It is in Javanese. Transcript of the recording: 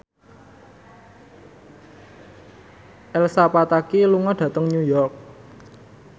Elsa Pataky lunga dhateng New York